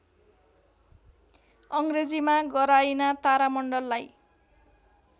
अङ्ग्रेजीमा गराइना तारामण्डललाई